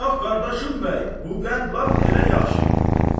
"Bax qardaşım bəy, bu qənd lap elə yaxşı getdi.